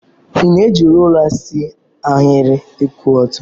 Ị na-eji rula see ahịrị kwụ ọtọ.